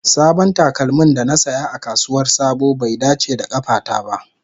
Sabon takalmin da na saya a kasuwar sabo bai dace da kafata ba.